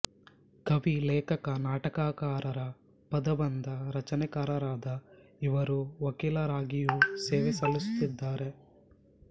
ಕವಿ ಲೇಖಕ ನಾಟಕಕಾರ ಪದಬಂಧ ರಚನೆಕಾರರಾದ ಇವರು ವಕೀಲರಾಗಿಯೂ ಸೇವೆ ಸಲ್ಲಿಸುತ್ತಿದ್ದಾರೆ